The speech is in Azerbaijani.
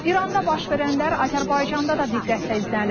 İranda baş verənlər Azərbaycanda da diqqətlə izlənilir.